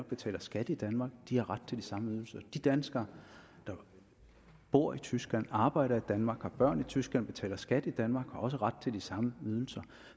betaler skat i danmark har ret til de samme ydelser de danskere der bor i tyskland arbejder i danmark har børn i tyskland og betaler skat i danmark har også ret til de samme ydelser